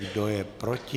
Kdo je proti?